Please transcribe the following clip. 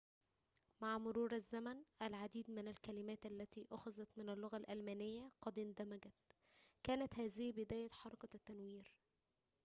مع مرور الزمن العديد من الكلمات التي أُخِذَت من اللغة الألمانية قد اندمجت كانت هذه بداية حركة التنوير